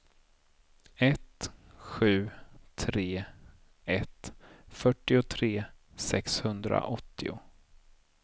ett sju tre ett fyrtiotre sexhundraåttio